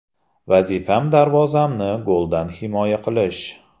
Vazifam darvozamni goldan himoya qilish.